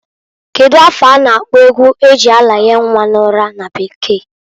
Kedu afa a na-akpọ egwu e ji aranye nnwa n'ụra na bekee?